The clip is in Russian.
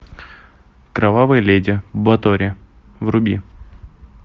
кровавая леди батори вруби